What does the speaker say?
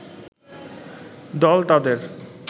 দল তাদের